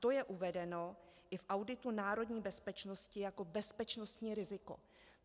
To je uvedeno i v auditu národní bezpečnosti jako bezpečnostní riziko.